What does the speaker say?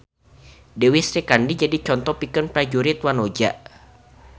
Dewi Srikandi jadi conto pikeun prajurit wanoja